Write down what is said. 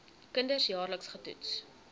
kinders jaarliks getoets